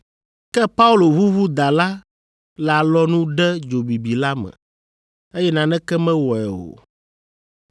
Ke Paulo ʋuʋu da la le alɔnu ɖe dzo bibi la me, eye naneke mewɔe o.